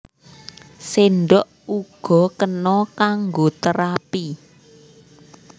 Séndhok uga kena kanggo terapi